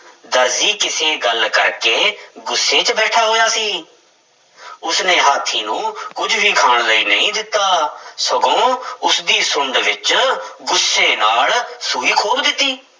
ਦਰਜੀ ਕਿਸੇ ਗੱਲ ਕਰਕੇ ਗੁੱਸੇ ਵਿੱਚ ਬੈਠਾ ਹੋਇਆ ਸੀ ਉਸਨੇ ਹਾਥੀ ਨੂੰ ਕੁੱਝ ਵੀ ਖਾਣ ਲਈ ਨਹੀਂ ਦਿੱਤਾ ਸਗੋਂ ਉਸਦੀ ਸੁੰਡ ਵਿੱਚ ਗੁੱਸੇ ਨਾਲ ਸੂਈ ਖੋਭ ਦਿੱਤੀ।